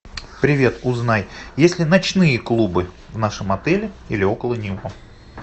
привет узнай есть ли ночные клубы в нашем отеле или около него